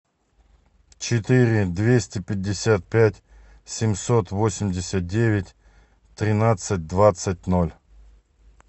четыре двести пятьдесят пять семьсот восемьдесят девять тринадцать двадцать ноль